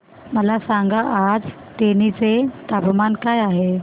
मला सांगा आज तेनी चे तापमान काय आहे